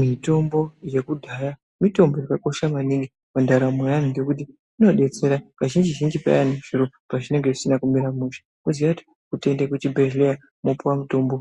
Mitombo yakudhaya mitombo yakakosha maningi pandaramo yeantu. Ngekuti inobetsera kazhinji-zhinji payani zviro pazvinonga zvisina kumira mushe votoende kuchibhedhleya vopuva mutombo.